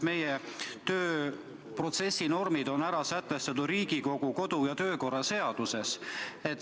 Meie tööprotsessi normid on sätestatud ju Riigikogu kodu- ja töökorra seaduses.